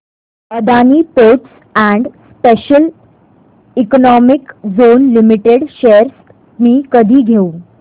Adani Ports and Special Economic Zone Limited shares मी कधी घेऊ